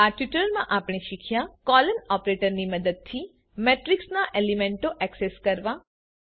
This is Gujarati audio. આ ટ્યુટોરીયલમાં આપણે શીખ્યા કોલોન ઓપરેટરની મદદથી મેટ્રીક્સના એલિમેન્ટો એક્સેસ કરવા